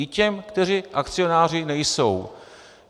I těm, kteří akcionáři nejsou.